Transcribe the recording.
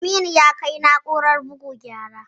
Aminu ya kai na'urar bugu gyara